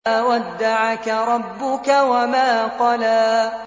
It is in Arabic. مَا وَدَّعَكَ رَبُّكَ وَمَا قَلَىٰ